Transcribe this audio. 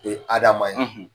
O ye Adama ye.